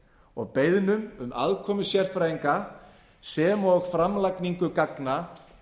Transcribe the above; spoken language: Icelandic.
og beiðnum um aðkomu sérfræðinga sem og framlagningu gagna